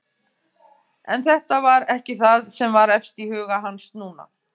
En þetta var ekki það sem var efst í huga hans núna.